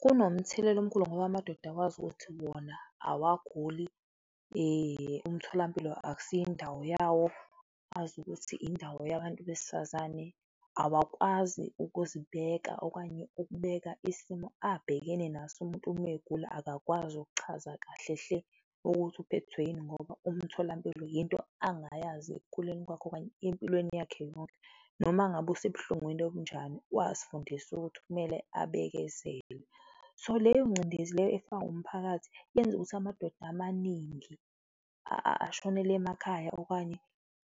Kunomthelela omkhulu ngoba amadoda awazi ukuthi wona awaguli, umtholampilo akusiyo indawo yawo, azi ukuthi indawo yabantu besifazane, awakwazi ukuzibeka okanye ukubeka isimo abhekene naso. Umuntu umegula akakwazi ukuchaza kahle hle ukuthi uphethwe yini ngoba umtholampilo yinto angayazi ekukhuleni kwakhe okanye empilweni yakhe yonke noma ngabe usebuhlungwini obunjani, wazifundisa ukuthi kumele abekezele. So leyo ngcindezi leyo efakwa umphakathi, yenza ukuthi amadoda amaningi ashonele emakhaya okanye